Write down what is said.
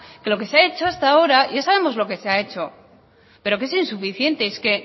que lo que se ha hecho hasta ahora ya sabemos lo que se ha hecho pero que es insuficiente es que